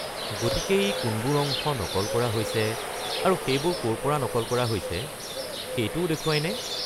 গতিকে ই কোনবোৰ অংশ নকল কৰা হৈছে আৰু সেইবোৰ ক'ৰ পৰা নকল কৰা হৈছে সেইটোও দেখুৱায় নে?